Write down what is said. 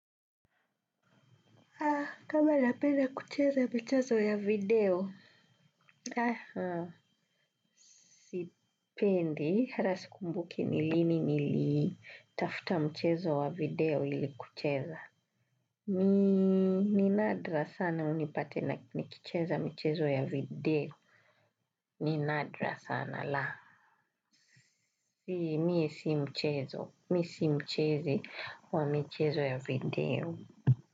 Kama napenda kucheza michezo ya video. Aha. Sipendi. Hata sikumbuki ni lini nilitafta mchezo wa video ili kucheza. Ni nadra sana unipate na nikicheza michezo ya video. Ni nadra sana la. Mie si mchezo. Mi si mchezi wa michezo ya video.